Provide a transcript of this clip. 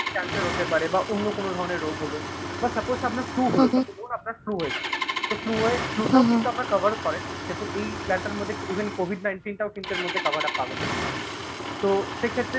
Cancer হতে পারে বা অন্য কোন ধরনের রোগ হল বা suppose আপনার flue হয়েছে. ত flue হয়ে প্রথম কিন্তু আপনারা cover করেন। দেখুন এই plan টার মধ্যে even COVID nineteen টাও কিন্তু এর মধ্যে cover up পাবেন আপনি, তো সেক্ষেত্রে